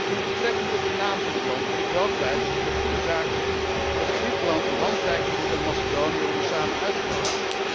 Met betrekking tot de naam van het land wil ik wel kwijt dat ik het een goede zaak vind dat Griekenland een hand reikt aan Macedonië om er samen uit te komen.